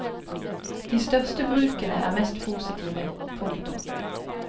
De største brukene er mest positive. punktum